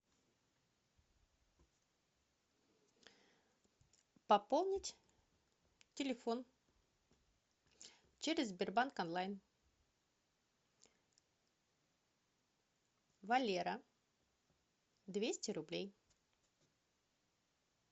пополнить телефон через сбербанк онлайн валера двести рублей